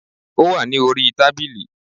Ó wà ní orí tábìlì